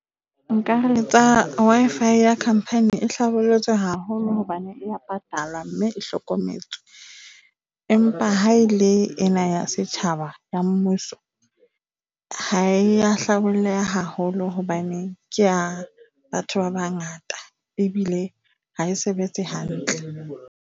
Nka re tsa Wi-Fi ya company e hlabollotswe haholo hobane e ya patalwa, mme e hlokometswe, empa ha e le ena ya setjhaba ya mmuso, ha e a hlabolleha haholo hobane ke ya batho ba bangata ebile ha e sebetse hantle.